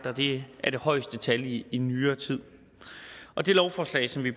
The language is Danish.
og det er det højeste tal i i nyere tid det lovforslag som vi